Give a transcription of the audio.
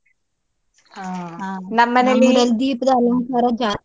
ಹ .